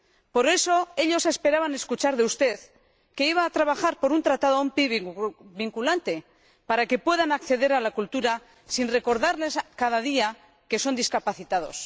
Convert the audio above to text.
Por eso, ellos esperaban escuchar de usted que iba a trabajar por un tratado vinculante para que puedan acceder a la cultura sin recordarles cada día que son discapacitados.